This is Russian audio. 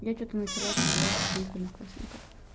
я что-то начала офигевать со своих одноклассников